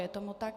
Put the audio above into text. Je tomu tak.